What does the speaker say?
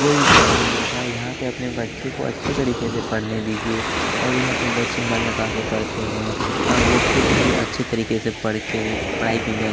कोई भी प्रॉब्लम नहीं होगा यहाँ पे अपने बच्चे को अच्छे तरीके से पढ़ने दीजिए और यहाँ पर बच्चे मन लगा के पढ़ते हैं अ वो खुद ही अच्छे तरीके से पढ़ के पढ़ाई को इंजॉय --